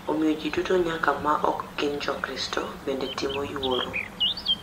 Omiyo ji duto nyaka ma ok gin Jokristo bende timo yuoro.